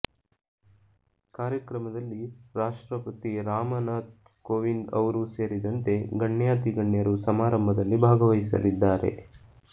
ಕಾರ್ಯಕ್ರಮದಲ್ಲಿ ರಾಷ್ಟ್ರಪತಿ ರಾಮನಾಥ್ ಕೋವಿಂದ್ ಅವರೂ ಸೇರಿದಂತೆ ಗಣ್ಯಾತಿಗಣ್ಯರು ಸಮಾರಂಭದಲ್ಲಿ ಭಾಗವಹಿಸಲಿದ್ದಾರೆ